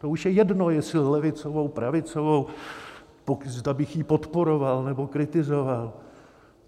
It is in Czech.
To už je jedno, jestli levicovou, pravicovou, zda bych ji podporoval, nebo kritizoval.